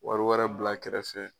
Wari wɛrɛ bila kɛrɛfɛ